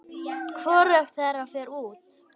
Hvorugt þeirra fer út.